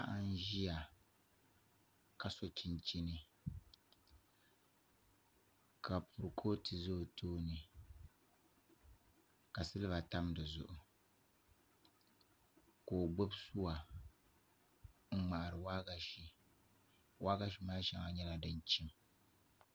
Paɣa n ʒiya ka so chinchini ka kuripooto ʒɛ o tooni ka silba tam di zuɣu ka o gbubi suwa n ŋmaari waagashe waagashe maa shɛŋa nyɛla din chim